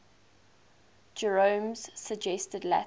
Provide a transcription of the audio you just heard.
jerome's suggested latin